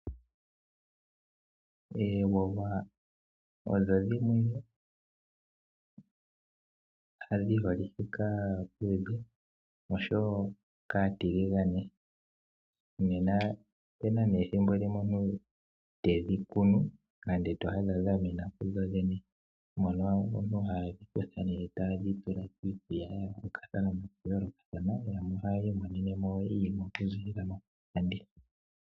Oowa odho dhimwe dhi holike kaaluudhe noshowo kaatiligane. Opu na ethimbo limwe to adha omuntu tedhi kunu nenge to adha dha mena kudho dhene, mono aantu haye yi dhi kutha taye dhi longitha iinima ya yoolokathana, yamwe ohaya imonene mo iiyemo okuziilila mokulanditha.